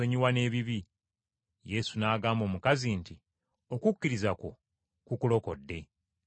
Yesu n’agamba omukazi nti, “Okukkiriza kwo kukulokodde, genda mirembe.”